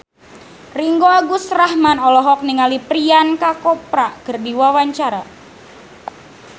Ringgo Agus Rahman olohok ningali Priyanka Chopra keur diwawancara